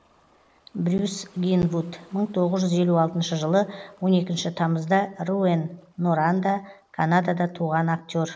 брюс гинвуд мың тоғыз жүз елу алтыншы жылы он екінші тамызда руэн норанда канадада туған актер